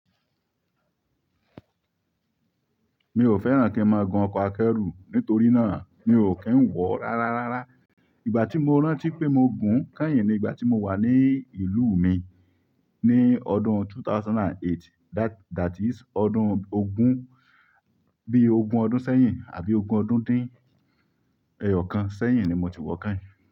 Mi ò fẹ́ràn kí n máa gun ọkọ̀ akẹ́rù nítorí náà mi ò kí ń wọ̀ rárárárá. Ìgbà tí mo rántí pé mo gùn kányìn ni ìgbà tí mo wà ní ìlú mi ní ọdún 2008 that is ọdún ogún bí ogún ọdún sẹ́yìn àbí ogun ọdún dín eyokan seyin ni mo ti wo kehin.